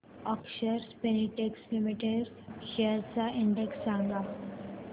अक्षर Spintex Limited shares चा index सांगा